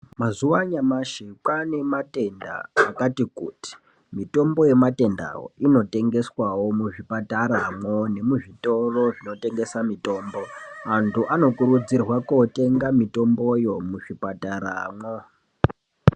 Mazuwa anyamashi kwaane matenda akati kuti mitombo yematendawo inotengeswawo muzvipataramwo nemuzitoro zvinotengese mitombo anhu anokurudzirwe kotenga mitomboyo muzvipataramwo.